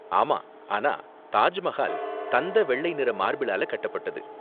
ஆமா, ஆனா தாஜ் மஹால் தந்த வெள்ளை நிற மார்பிளால கட்டப்பட்டது.